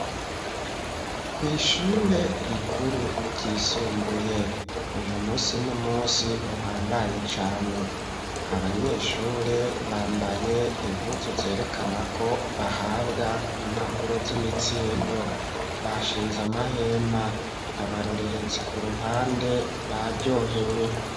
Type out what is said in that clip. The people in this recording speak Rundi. Kw'ishure rikuru ryisumbuye uyu munsi n'umunsi uhambaye cane, abanyeshure bambaye impuzu zerekana ko bahabwa impapuro z'imitsindo. Bashinze amahema, abarorerezi ku ruhande baryohewe.